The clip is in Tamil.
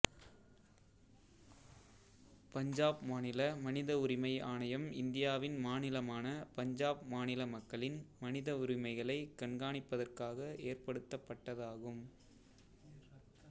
பஞ்சாப் மாநில மனித உரிமை ஆணையம் இந்தியாவின் மாநிலமான பஞ்சாப் மாநில மக்களின் மனிதவுரிமைகளை கண்கானிப்பதற்காக ஏற்படுத்தப்பட்டதாகும்